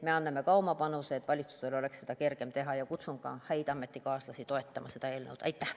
Me anname oma panuse, et valitsusel oleks seda kergem teha, ja kutsun ka häid ametikaaslasi toetama seda eelnõu.